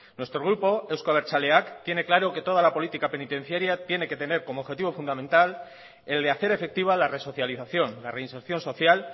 nuestro grupo euzko abertzaleak tiene claro que toda la política penitenciaria tiene que tener como objetivo fundamental el de hacer efectiva la resocialización la reinserción social